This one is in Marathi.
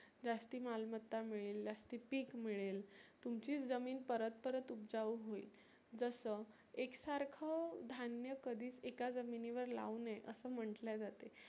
जास्ती मालमत्ता मिळेल, जास्ती पिक मिळेल. तुमची जमीन परत परत उबजाऊ होईल. जसं एकसारख धान्य कधीच एका जमिनी वर लावू नए असं म्हटलं जाते.